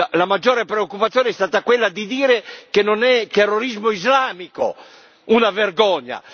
La maggiore preoccupazione è stata quella di dire che non è terrorismo islamico una vergogna!